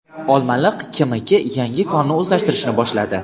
Olmaliq KMK yangi konni o‘zlashtirishni boshladi.